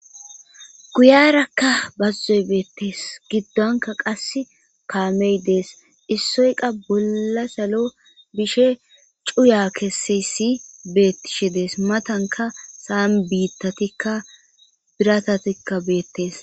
guyarakka bazzoy beettees giddonka qas kaamey dees issoyqa bolla salo bishe cuya keseyssi beettishe dees matanka saam biittatikka biratatikka beettes